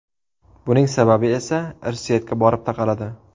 Buning sababi esa irsiyatga borib taqaladi.